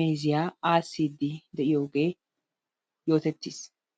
meeziyaa aassidi de'iyoogee yootettiis.